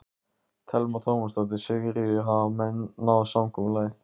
Telma Tómasson: Sigríður, hafa menn náð samkomulagi?